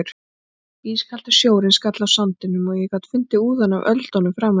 Ískaldur sjórinn skall á sandinum og ég gat fundið úðann af öldunum framan í mér.